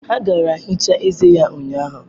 Ha gaara ehicha eze ya ụnyahụ.